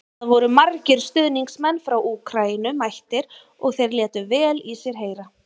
Það voru margir stuðningsmenn frá Úkraínu mættir og þeir létu vel í sér heyra.